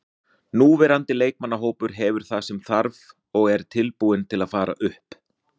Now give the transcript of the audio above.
Núverandi leikmannahópur hefur það sem þarf og er tilbúinn til að fara upp.